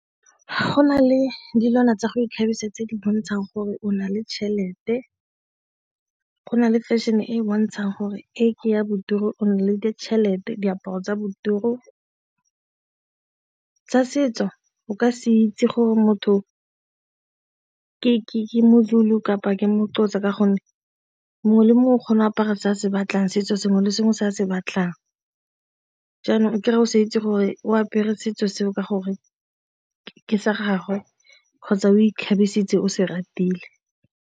Go na le dilwana tsa go ikgabisa tse di bontshang gore o na le tšhelete, go na le fashion-e e bontshang gore e ke ya o na le ditšhelete diaparo tsa bo . Tsa setso o ka se itse gore motho ke motho u kapa ke motor ka gonne mongwe le mongwe o kgona go apara se a se batlang setso se sengwe le sengwe se a se batlang, jaanong kry-e o sa itse gore o apere setso seo ke gore ke sa gagwe kgotsa o ikgabisitse o se ratile.